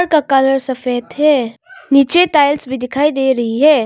का कलर सफ़ेद है नीचे टाइल्स भी दिखाई दे रही है।